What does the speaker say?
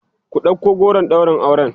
ku ɗauko goron ɗaurin auren!